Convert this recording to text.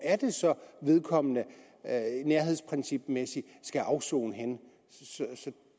vedkommende nærhedsprincipmæssigt skal afsone